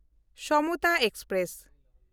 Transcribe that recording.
Samata express